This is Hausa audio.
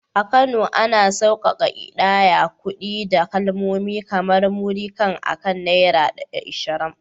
A Kano, ana sauƙaƙa ƙidayar kuɗi da kalmomi kamar “Múrí kan” akan Naira 20.